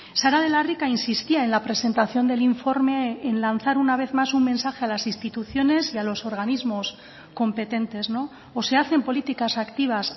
sara de la rica insistía en la presentación del informe en lanzar una vez más un mensaje a las instituciones y a los organismos competentes o se hacen políticas activas